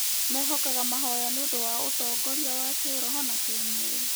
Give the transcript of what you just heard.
Mehokaga mahoya nĩ ũndũ wa ũtongoria wa kĩĩroho na kĩĩmwĩrĩ.